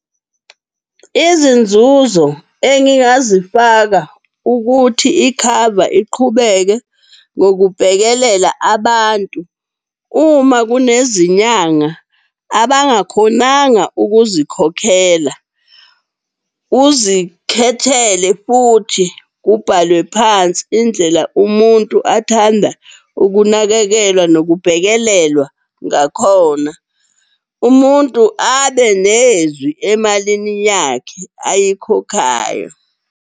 Izinzuzo engingazifaka ukuthi ikhava iqhubeke ngokubhekelela abantu uma kunezinyanga abangakhonanga ukuzikhokhela. Uzikhethele futhi kubhalwe phansi indlela umuntu athanda ukunakekelwa nokubhekelelwa ngakhona. Umuntu abe nezwi emalini yakhe ayikhokhayo.